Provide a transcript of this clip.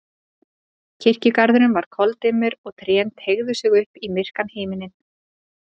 Kirkjugarðurinn var koldimmur og trén teygðu sig upp í myrkan himininn.